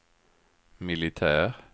militär